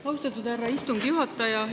Austatud härra istungi juhataja!